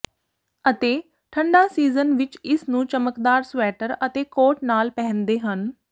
ਅਤੇ ਠੰਡਾ ਸੀਜ਼ਨ ਵਿਚ ਇਸ ਨੂੰ ਚਮਕਦਾਰ ਸਵੈਟਰ ਅਤੇ ਕੋਟ ਨਾਲ ਪਹਿਨਦੇ ਹਨ